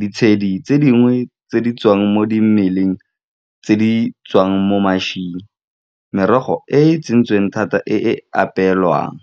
ditshedi tse dingwe tse di tswang mo dimeleng tse di tswang mo , merogo e e tsentsweng thata e e apeelwang.